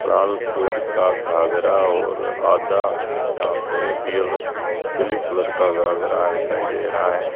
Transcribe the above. लाल colour का घाघरा और आधा यहां पे ब्लू कलर का घाघरा दिखाई दे रहा है।